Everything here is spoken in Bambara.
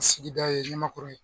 Sigida ye Ɲamakɔrɔ ye.